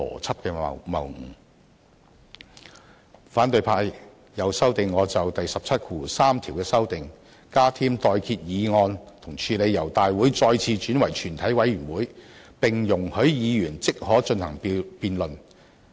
此外，反對派又修正我就第173條作出的修訂，加添"待決議案"來處理由立法會大會再次轉為全委會的情況，並容許議員即可進行辯論。